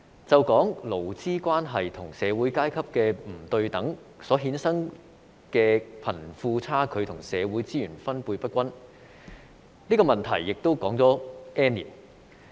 就說勞資關係和社會階級的不對等所衍生的貧富差距和社會資源分配不均，這個問題也說了 "N 年"。